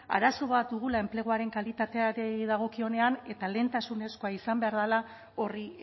arazo bat dugula enpleguaren kalitateari dagokionean eta lehentasunezkoa izan behar dela horri